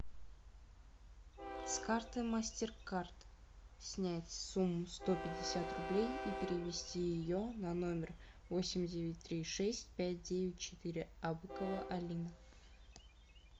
с карты мастер карт снять сумму сто пятьдесят рублей и перевести ее на номер восемь девять три шесть пять девять четыре абыкова алина